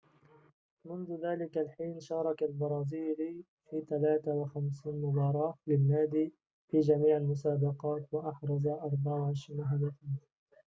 منذ ذلك الحين شارك البرازيلي في 53 مباراة للنادي في جميع المسابقات وأحرز 24 هدفاً